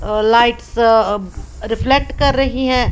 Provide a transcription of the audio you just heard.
अ lights uh reflect कर रही है।